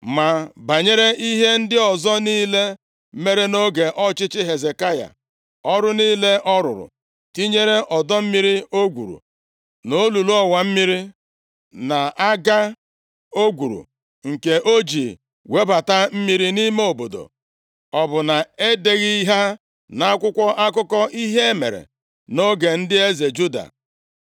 Ma banyere ihe ndị ọzọ niile mere nʼoge ọchịchị Hezekaya, ọrụ niile ọ rụrụ, tinyere ọdọ mmiri o gwuru, na olulu ọwa mmiri + 20:20 Hezekaya gbobichiri mmiri iyi Gaihọn, gwuo olulu ebe mmiri a si aga, ka ọ dịrị ha mfe i nweta mmiri ma ndị iro gbaa Jerusalem gburugburu nʼoge agha. \+xt 2Ih 32:30\+xt* na-aga o gwuru, nke o ji webata mmiri nʼime obodo, ọ bụ na e deghị ha nʼakwụkwọ akụkọ ihe mere nʼoge ndị eze Juda?